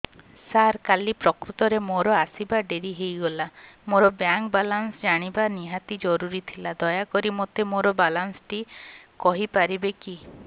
ସାର କାଲି ପ୍ରକୃତରେ ମୋର ଆସିବା ଡେରି ହେଇଗଲା ମୋର ବ୍ୟାଙ୍କ ବାଲାନ୍ସ ଜାଣିବା ନିହାତି ଜରୁରୀ ଥିଲା ଦୟାକରି ମୋତେ ମୋର ବାଲାନ୍ସ ଟି କହିପାରିବେକି